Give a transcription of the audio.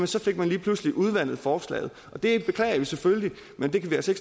så fik man lige pludselig udvandet forslaget det beklager vi selvfølgelig men det kan vi altså